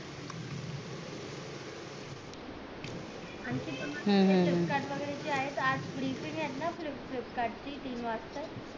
हम्म हम्म flipkart ची वैगेरे आहेत flipkart ची तीन वाजता